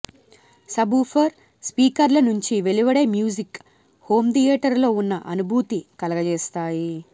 subwoofer స్పీకర్ల నుంచి వెలువడే మ్యూజిక్ హోంథియేటర్లో ఉన్న అనుభూతి కలుగజేస్తాయి